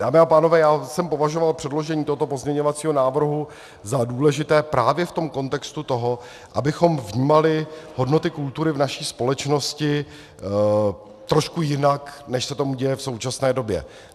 Dámy a pánové, já jsem považoval předložení tohoto pozměňovacího návrhu za důležité právě v tom kontextu toho, abychom vnímali hodnoty kultury v naší společnosti trošku jinak, než se tomu děje v současné době.